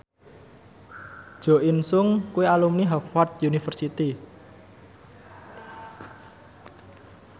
Jo In Sung kuwi alumni Harvard university